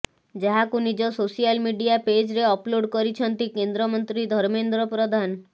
ଯାହାକୁ ନିଜ social media ପେଜ୍ରେ ଅପ୍ଲୋଡ୍ କରିଛନ୍ତି କେନ୍ଦ୍ରମନ୍ତ୍ରୀ ଧର୍ମେନ୍ଦ୍ର ପ୍ରଧାନ